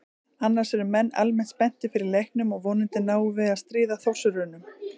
Annars eru menn almennt spenntir fyrir leiknum og vonandi náum við að stríða Þórsurunum.